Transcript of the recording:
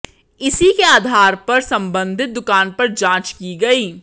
इसी के आधार पर संबंधित दुकान पर जांच की गई